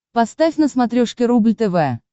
поставь на смотрешке рубль тв